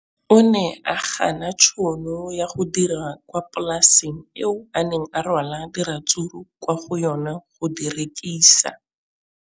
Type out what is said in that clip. O ne a gana tšhono ya go dira kwa polaseng eo a neng rwala diratsuru kwa go yona go di rekisa.